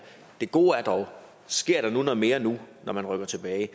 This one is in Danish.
det gode er dog at sker der nu noget mere når man rykker tilbage ja